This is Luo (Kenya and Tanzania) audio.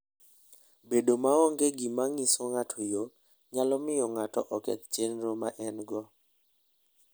Bedo maonge gi gima nyiso ng'ato yo, nyalo miyo ng'ato oketh chenro ma en-go.